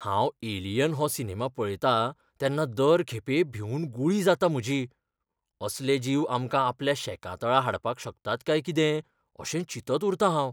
हांव "एलियन" हो सिनेमा पळयतां तेन्ना दर खेपे भिवून गुळी जाता म्हजी. असले जीव आमकां आपल्या शेकातळा हाडपाक शकतात काय कितें अशें चिंतत उरतां हांव.